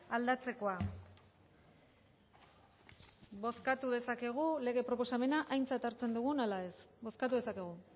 aldatzekoa aintzat hartzen dugun ala ez bozkatu dezakegu